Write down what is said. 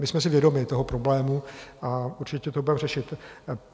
My jsme si vědomi toho problému a určitě to budeme řešit.